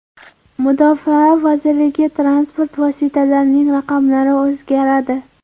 Mudofaa vazirligi transport vositalarining raqamlari o‘zgaradi.